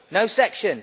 No section!